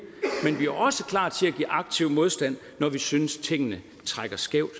men vi er også klar til at give aktiv modstand når vi synes tingene trækker skævt